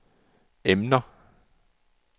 emner